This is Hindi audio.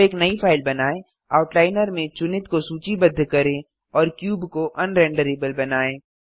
अब एक नई फाइल बनाएँ आउटलाइनर में चुनित को सूचीबद्ध करें और क्यूब को अन रेंडरेबल बनाएँ